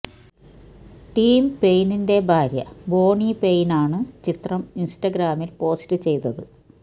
Tim പെയ്നിന്റെ ഭാര്യ Bonnie Paine ആണ് ചിത്രം ഇന്സ്റ്റഗ്രാമില് പോസ്റ്റ് ചെയ്തത്